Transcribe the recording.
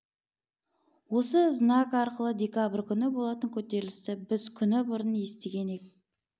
осы знак арқылы декабрь күні болатын көтерілісті біз күні бұрын естіген ек